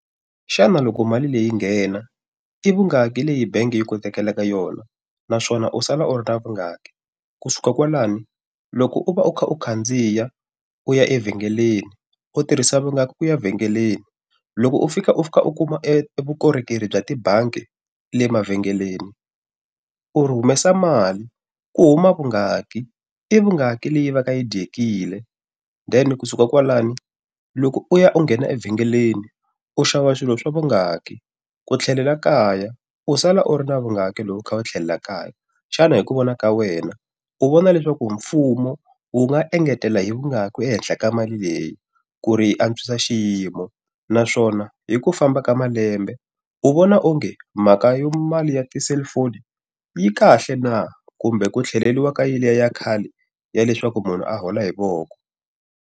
Xana loko mali leyi nghena, i vungaki leyi bangi yi ku tekela eka yona? Naswona u sala u ri ra vungaki? Ku suka kwalaho, loko u va u kha u khandziya u ya evhengeleni, u tirhisa vungaki ku ya vhengeleni? Loko u fika u fika u kuma e e vukorhokeri bya tibangi le mavhengeleni, u ri humesa mali ku huma vungaki? I vungaki leyi va ka yi dyekile? Then kusuka kwalano loko u ya u nghena evhengeleni, u xava swilo swa vungaki? Ku tlhelela kaya, u sala u ri na vungaki loko u kha u tlhelela kaya? Xana hi ku vona ka wena, u vona leswaku mfumo wu nga engetela hi vungaki ehenhla ka mali leyi ku ri yi antswisa xiyimo? Naswona hi ku famba ka malembe, u vona onge mhaka ya mali ya ti-cellphone yi kahle na kumbe ku tlheleriwa ka yeliya ya khale ya leswaku munhu a hola hi voko?